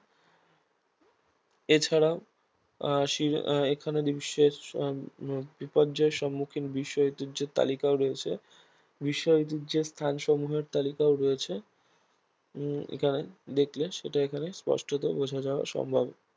এছাড়াও আহ সির আহ এখানে বিশ্বের আহ বিপর্যয় সম্মুখীন বিষয় ঐতিহ্যের তালিকাও রয়েছে বিষয় ঐতিহ্যের স্থান সমূহের তালিকাও রয়েছে উম এখানে দেখলে সেটা এখানে স্পষ্টত বোঝা যাওয়া সম্ভব